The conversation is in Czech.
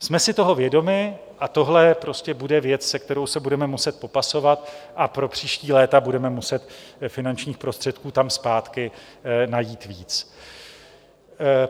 Jsme si toho vědomi a tohle prostě bude věc, se kterou se budeme muset popasovat a pro příští léta budeme muset finančních prostředků tam zpátky najít víc.